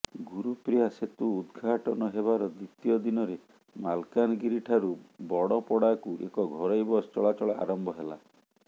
ଗୁରୁପ୍ରିୟା ସେତୁ ଉଦ୍ଘାଟନ ହେବାର ଦ୍ୱିତୀୟ ଦିନରେ ମାଲକାନଗିରିଠାରୁ ବଡ଼ପଡ଼ାକୁ ଏକ ଘରୋଇ ବସ୍ ଚଳାଚଳ ଆରମ୍ଭ ହେଲା